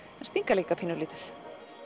en stinga líka pínulítið